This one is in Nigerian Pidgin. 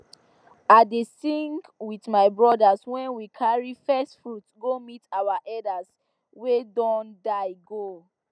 i dey sing with my brothers when we carry first fruit go meet our elders wey don die go